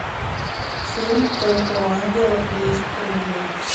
фильм только у ангелов есть крылья